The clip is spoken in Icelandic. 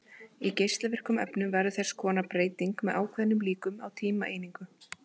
Í geislavirkum efnum verður þess konar breyting með ákveðnum líkum á tímaeiningu.